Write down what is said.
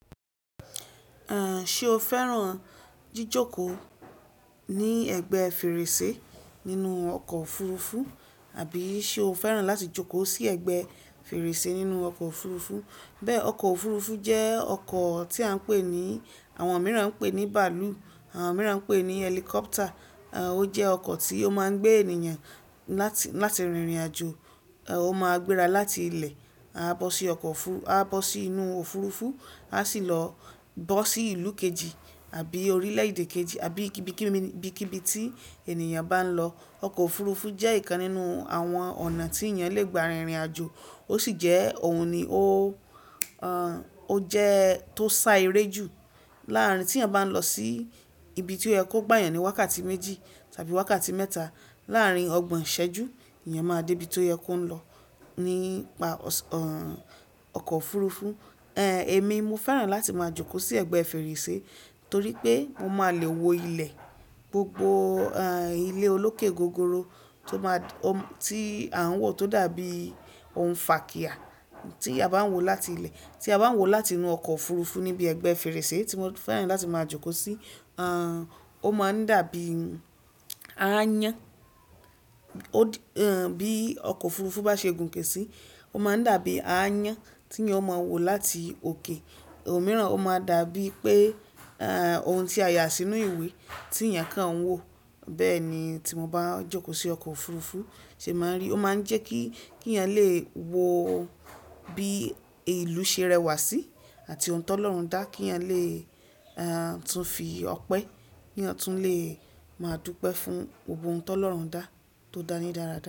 Ṣé o fẹ́ràn jíjòkòó ní ẹ̀gbẹ́ fèrèsé nínú ọkọ̀ òfurufú àbí ṣe o fẹ́ràn láti jòkó sí ẹ̀gbẹ́ fèrèsé nínú ọkọ̀ òfurufú? Ọkọ̀ òfurufú jẹ́ ọkọ̀ tí àwọn mìíràn ń pè ní bàálù, àwọn mìíràn ń pè ní helicopter. Ó jẹ́ ọkọ̀ tí ó máa ń gbé ènìyàn láti rìnrìn àjò. Ó máa ń gbéra láti ilẹ̀, a bọ́ sí inú òfurufú, a sì lọ bọ́ sí ìlú kejì àbí orílẹ̀ èdè kejì, àbí ibikíbi tí ènìyàn bá ń lọ. Ọkọ̀ òfurufú jẹ́ ìkan nínú àwọn ọ̀nà tí ènìyàn le gbà rìnrìn àjò. Ó sì jẹ́ òun ni ó sa eré jù láàárín tí ẹ bá ń lọ sí ibi tí ó yẹ kó gbà yàn ní wákàtí méjì tàbí wákàtí mẹ́ta. Láàárín ọgbọ̀n ìṣẹ́jú, ènìyàn máa dé ibi tó yẹ kó ń lọ nípa ọkọ̀ òfurufú. Èmi, mo fẹ́ràn láti máa jòkó sí ẹ̀gbẹ́ fèrèsé torí pé mo máa le wo ilẹ̀, gbogbo ilẹ̀ olókè gogoro tí à ń wò tó dàbí ohun fakiya tí a bá ń wo láti inú ọkọ̀ òfurufú níbi ẹgbẹ́ fèrèsé tí mo fẹ́ràn láti máa jòkó sí. Bí ọkọ̀ òfurufú bá ṣe gùn ké sí, ó máa ń dàbí aáyán tí ènìyàn ó máa ń wo láti òkè. Ò mìíràn, ó máa dàbí pé ohun tí a yà sínú ìwé tí ènìyàn kàn ń wò. Bẹ́ẹ̀ ni tí mo bá ń jòkó sí ọkọ̀ òfurufú ṣe máa ń rí. Ó máa ń jẹ́ kí ènìyàn lè wo bí ìlú ṣe rẹwà sí àti ohun tó ń lọ̀rùn dá kí ènìyàn lè tún fi ọpẹ́, kí ènìyàn tún lè máa dúpẹ́ fún gbogbo ohun tó ń lọ̀rùn dá tó dáni dára rí.